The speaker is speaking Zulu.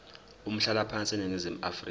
umhlalaphansi eningizimu afrika